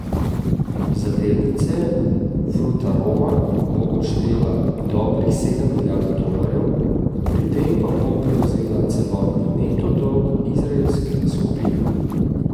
Za delnice Frutaroma bo odštela dobrih sedem milijard dolarjev, pri tem pa bo prevzela celotni neto dolg izraelske skupine.